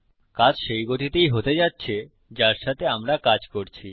কাজ সেই গতিতেই হতে যাচ্ছে যার সাথে আমরা কাজ করছি